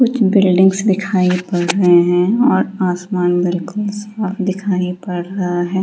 एक बिल्डिंग्स सी दिखाई पड़ रही है और आसमान बिलकुल साफ दिखाई पड़ रहा है।